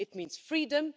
It means freedom